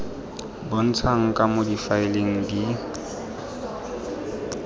bontshang ka moo difaele di